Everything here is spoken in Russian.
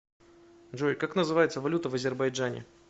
джой как называется валюта в азербайджане